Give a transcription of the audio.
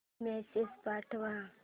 message पाठव